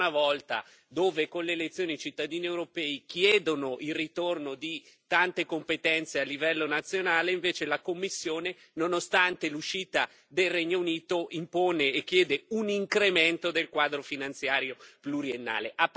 Ancora una volta, dove, con le elezioni, i cittadini europei chiedono il ritorno di tante competenze a livello nazionale, invece la Commissione nonostante l'uscita del Regno Unito impone e chiede un incremento del quadro finanziario pluriennale.